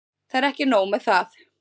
Það er ekki nóg með það.